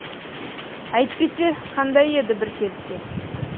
әйтпесе қандай еді бір кезде